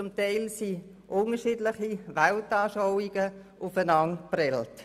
Zum Teil sind unterschiedliche Weltanschauungen aufeinander geprallt.